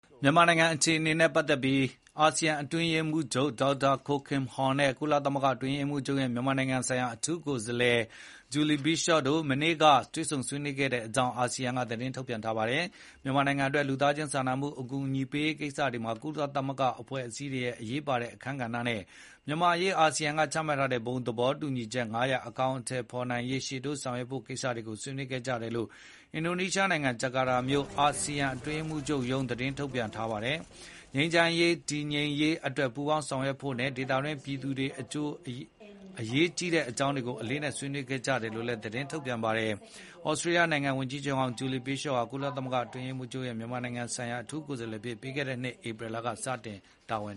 မြန်မာနိုင်ငံ အခြေအနေနဲ့ ပတ်သက်ပြီး အာဆီယံ အတွင်းရေးမှူးချုပ် Dr. Kao Kim Hourn နဲ့ ကုလသမဂ္ဂအတွင်းရေးမှူးချုပ်ရဲ့ မြန်မာနိုင်ငံဆိုင်ရာ အထူးကိုယ်စားလှယ် Julie Bishop တို့ မနေ့က တွေ့ဆုံဆွေးနွေးကြတဲ့အကြောင်း အာဆီယံက သတင်းထုတ်ပြန်ပါတယ်။ မြန်မာနိုင်ငံအတွက် လူသားချင်းစာနာမှု အကူအညီပေးရေးကိစ္စတွေမှာ ကုလသဂ္ဂအဖွဲ့အစည်းတွေရဲ့ အရေးပါတဲ့ အခန်းကဏ္ဍနဲ့ မြန်မာ့အရေး အာဆီယံက ချမှတ်ထားတဲ့ ဘုံသဘောတူညီချက် ၅ ရပ် အကောင်အထည်ဖေါ်နိုင်အောင် ရှေ့တိုး ဆောင်ရွက်ရေး ကိစ္စတွေကို ဆွေးနွေးကြတယ်လို့ အင်ဒိုနီးရှားနိုင်ငံ ဂျာကာတာမြို့ အာဆီယံ အတွင်းရေးမှူးချုပ်ရုံးက သတင်းထုတ်ပြန်ထားတာပါ။ ငြိမ်းချမ်းရေး တည်ငြိမ်ရေးအတွက် ပူးပေါင်းဆောင်ရွက်ဖို့နဲ့ ဒေသတွင်း ပြည်သူတွေအကျိုး အရေးကြီးတဲ့ အကြောင်းတွေကို အလေးအနက် ဆွေးနွေးခဲ့ကြတယ်လို့ သတင်းထုတ်ပြန်တာပါ။ ဩစတေးလျနိုင်ငံခြားရေးဝန်ကြီးဟောင်း Julie Bishop ဟာ ကုလသမဂ္ဂအတွင်းရေးမှူးချုပ်ရဲ့ မြန်မာနိုင်ငံဆိုင်ရာ အထူးကိုယ်စားလှယ်အဖြစ် ပြီးခဲ့တဲ့နှစ် ဧပြီလက စတင်တာဝန်